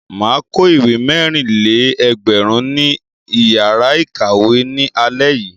Mà á kó ìwé mẹ́rìn-lé-ẹgbẹ̀rún ní ìyàrá-ìkàwé ní alẹ́ yìí.